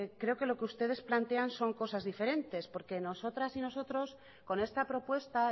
creo que lo que ustedes plantean son cosas diferentes porque nosotras y nosotros con esta propuesta